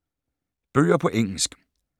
Bøger på engelsk